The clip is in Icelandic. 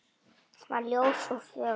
Hún var ljós og fögur.